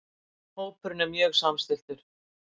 Hópurinn er mjög samstilltur